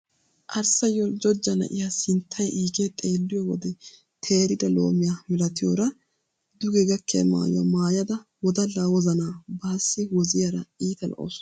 Arssa yoljjojja na'iya sinttay iigee xeelliyo wode teerida loomiya milatiyora duge gakkiya maayuwa maayada wodallaa wozanaa baassi woziyara iita lo"awuus.